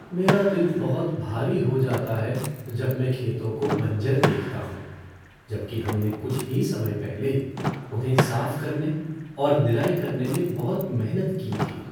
मेरा दिल बहुत भारी हो जाता है जब मैं खेतों को बंजर देखता हूँ जब कि हमने कुछ ही समय पहले उन्हें साफ़ करने और निराई करने में बहुत मेहनत की थी।